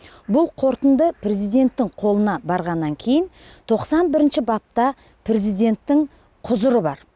бұл қорытынды президенттің қолына барғаннан кейін тоқсан бірінші бапта президенттің құзыры бар